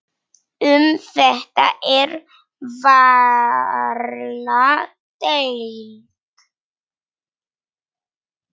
Um þetta er varla deilt.